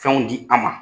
Fɛnw di an ma